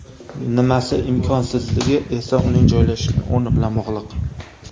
Nimasi imkonsizligi esa uning joylashgan o‘rni bilan bog‘liq.